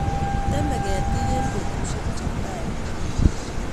Temei ketik eng' petushek che tai